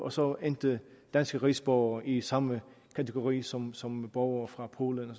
og så endte danske rigsborgere i samme kategori som som borgere fra polen og